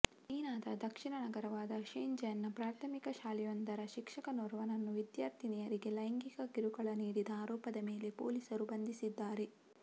ಚೀನದ ದಕ್ಷಿಣ ನಗರವಾದ ಶೆಂಝೆನ್ನ ಪ್ರಾಥಮಿಕ ಶಾಲೆಯೊಂದರ ಶಿಕ್ಷಕನೋರ್ವನನ್ನು ವಿದ್ಯಾರ್ಥಿನಿಯರಿಗೆ ಲೈಂಗಿಕ ಕಿರುಕುಳ ನೀಡಿದ ಆರೋಪದ ಮೇಲೆ ಪೊಲೀಸರು ಬಂಧಿಸಿದ್ದಾರೆ